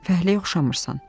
Fəhləyə oxşamırsan.